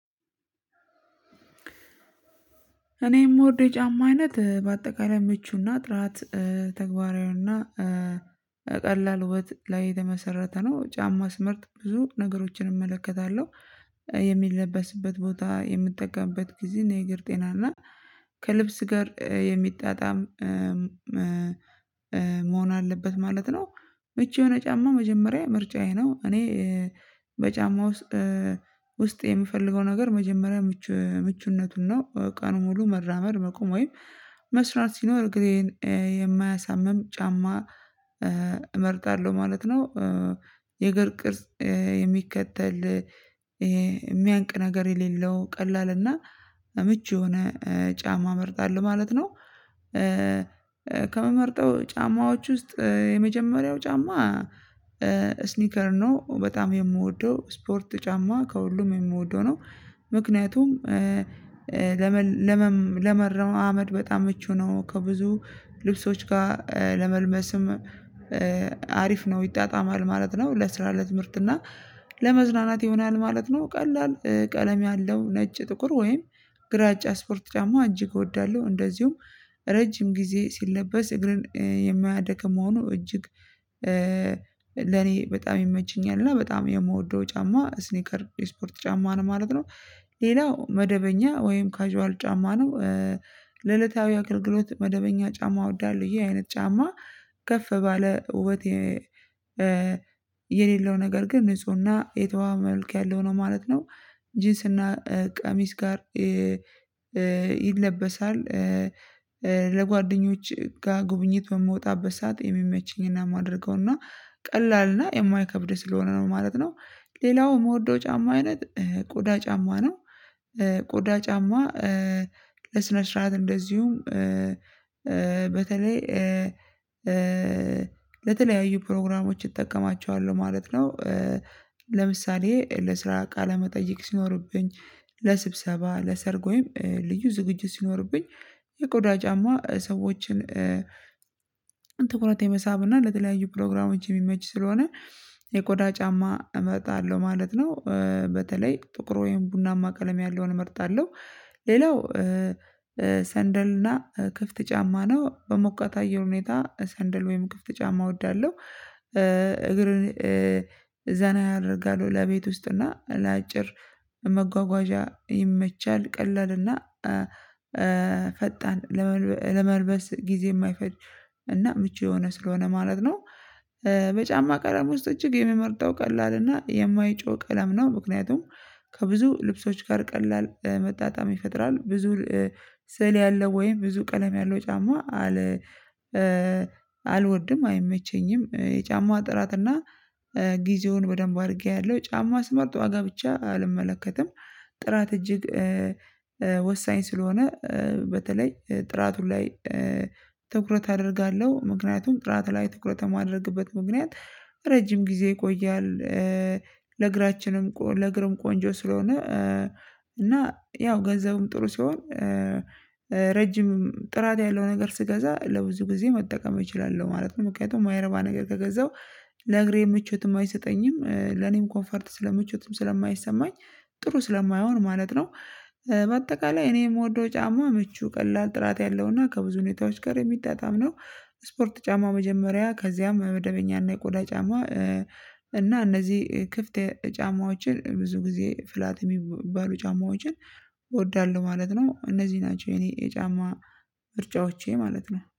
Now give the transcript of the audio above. እኔ የምወደው የጫማ አይነት በአጠቃላይ ምቹና ጥራት ተግባራዊውና ቀላል ውበት ላይ የተመሰረተ ነው ጫማ ስምርጥ ብዙ ነገሮችን እመለከታለሁ። የሚለበስበት ቦታ የምጠቀምበት ጊዜና የእግር ጤና እና ከልብስ ጋር የሚጣጣም መሆን አለበት ማለት ነው። ምቹ የሆነ ጫማ መጀመሪያ ምርጫዬ ነው። እኔ በጫማ ውስጥ የምፈልገው ነገር መጀመሪያ ምቹ ምቹነቱን ነው ቀኑን ሙሉ መራመር መቆም ወይም መስራት ሲኖር ጊዜን የማያሳምም ጫማ እመርጣለሁ ማለት ነው። የእግር ቅርጽ የሚከተል የሚያንቅ ነገር የሌለው ቀላል እና ምቹ የሆነ ጫማ መርጣለሁ ማለት ነው። ከምመርጠው ጫማዎች ውስጥ የመጀመሪያው ጫማ ስኒከር ነው በጣም የምወደው ስፖርት ጫማ ከሁሉም የምወደው ነው። ምክንያቱም ለመረማመድ በጣም ምቹ ነው ከብዙ ልብሶች ጋር ለመልበስም አሪፍ ነው ይጣጣማል ማለት ነው። ለስራ ለትምህርት እና ለመዝናናት ይሆናል ማለት ነው። ቀለም ያለው ነጭ ጥቁር ወይም ግራጫ ስፖርት ጫማ እጅግ እወዳለሁ። እንደዚሁም ረጅም ጊዜ ሲለበስ እግርን የማያደክም መሆኑ እጅግ ለኔ በጣም ይመችኛል እና በጣም የምወደው ጫማ ስኒከር የስፖርት ጫማ ነው ማለት ነው። ሌላው መደበኛ ወይም ካዥዋል ጫማ ነው። ለዕለታዊ አገልግሎት መደበኛ ጫማ እወዳለሁ ይሄ አይነት ጫማ ከፍ ባለ ውበቴ የሌለው ነገር ግን ንፁህና የተዋበ መልክ ያለው ነው ማለት ነው። ጂንስና ቀሚስ ጋር ይለበሳል ለጓደኞች ጋር ጉብኝት በምወጣበት ሰዓት የሚመችኝና የማደርገውና ቀላልና የማይከብድ ስለሆነ ነው ማለት ነው። ሌላው የምወደው ጫማ አይነት ቆዳ ጫማ ነው። ቆዳ ጫማ ለስነ ስርዓት እንደዚሁም በተለይ ለተለያዩ ፕሮግራሞች እጠቀማቸዋለሁ ማለት ነው። ለምሳሌ ለስራ ቃለመጠይቅ ሲኖርብኝ ለስብሰባ ለሰርግ ወይም ልዩ ዝግጅት ሲኖርብኝ የቆዳ ጫማ ሰዎችን ትኩረት የመሳብ እና ለተለያዩ ፕሮግራሞች የሚመች ስለሆነ የቆዳ ጫማ እመጣለሁ ማለት ነው። በተለይ ጥቁር ወይም ቡናማ ቀለም ያለውን እመርጣለሁ። ሌላው ሰንደልና ክፍት ጫማ ነው በሞቃት አየር ሁኔታ ሰንደል ወይም ክፍት ጫማ እወዳለሁ። እግር ዘና ያደርጋሉ ለቤት ውስጥ እና ለአጭር መጓጓዣ ይመቻል ቀለል እና ፈጣን ለመልበስ ጊዜ የማይፈጅ እና ምቹ የሆነ ስለሆነ ማለት ነው። በጫማ ቀለም ውስጥ እጅግ የምመርጠው ቀላል እና የማይጮህ ቀለም ነው። ምክንያቱም ከብዙ ልብሶች ጋር ቀላል መጣጣም ይፈጥራል ብዙ ስዕል ያለው ወይም ብዙ ቀለም ያለው ጫማ አለ አልወድም አይመቸኝም የጫማ ጥራትና ጊዜውን በደንብ አድርጌ አያለሁ ጫማ ስመርጥ ዋጋ ብቻ አልመለከትም። ጥራት እጅግ ወሳኝ ስለሆነ በተለይ ጥራቱ ላይ ትኩረት አደርጋለሁ። ምክንያቱም ጥራት ላይ ትኩረት የማደርግበት ምክንያት ረጅም ጊዜ ይቆያል። ለእግራችንም ለእግርም ቆንጆ ስለሆነ እና ያው ገንዘቡም ጥሩ ሲሆን ረጅም ጥራት ያለው ነገር ስገዛ ለብዙ ጊዜ መጠቀም እችላለሁ ማለት ነው። ምክንያቱም የማይረባ ነገር ከገዛው ለእግሬ ምቾትም አይሰጠኝም ለኔም ኮንፈርት ስለምቾትም ስለማይሰማኝ ጥሩ ስለማይሆን ማለት ነው። በአጠቃላይ እኔ የምወደው ጫማ ምቹ ቀላል ጥራት ያለውና ከብዙ ሁኔታዎች ጋር የሚጣጣም ነው። ስፖርት ጫማ መጀመሪያ ከዚያም መደበኛ እና የቆዳ ጫማ እና እነዚህ ክፍት ጫማዎችን ብዙ ጊዜ ፍላት የሚባሉ ጫማዎችን ማለት ነው እነዚህ ናቸው የኔ የጫማ ምርጫዎቼ ማለት ነው